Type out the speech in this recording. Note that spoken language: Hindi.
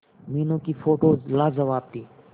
मीनू की फोटोज लाजवाब थी